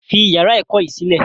Fi yàrá ẹ̀kọ́ yìí sílẹ̀!